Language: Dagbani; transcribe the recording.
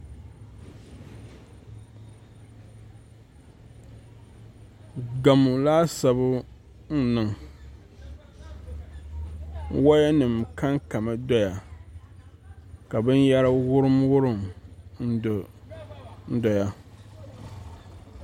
Gamo laasabu n niŋ woya nim kankami doya ka binyɛra wurim wurim n doya